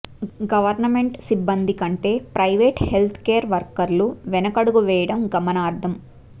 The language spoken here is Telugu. గవర్నమెంట్ సిబ్బంది కంటే ప్రైవేట్ హెల్త్ కేర్ వర్కర్లు వెనకడుగు వేయడం గమనార్హం